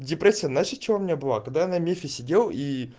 депрессия знаешь от чего у меня была когда я на мифе сидел и